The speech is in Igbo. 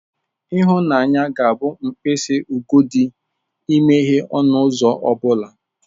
Ịhụnanya ga-abụ mkpịsị ugodi imeghe ọnụ ụzọ ọ bụla.